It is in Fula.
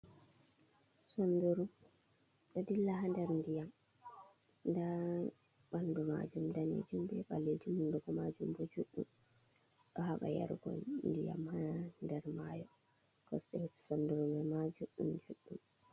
Sunɗuru ɗo ɗilla ha ɗer nɗiyam. ɗa banɗu majum danejum be ballejum hunɗugo majum bo juɗɗum. Ɗo haba yarugo ndiyam ha ɗer mayo. Kosɗe sunduru man ma juɗɗum juɗɗum.